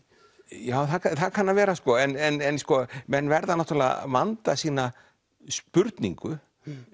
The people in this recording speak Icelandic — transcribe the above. já það kann að vera en menn verða náttúrulega að vanda sína spurningu